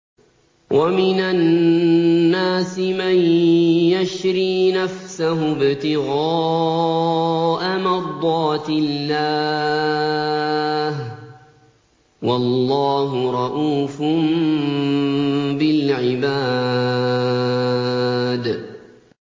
وَمِنَ النَّاسِ مَن يَشْرِي نَفْسَهُ ابْتِغَاءَ مَرْضَاتِ اللَّهِ ۗ وَاللَّهُ رَءُوفٌ بِالْعِبَادِ